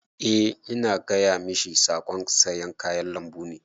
Eh ina gaya mashi saƙon sayan kayan lambun ne.